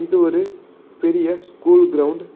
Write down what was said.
இது ஒரு பெரிய ஸ்கூல் கிரவுண்ட் .